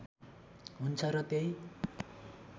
हुन्छ र त्यही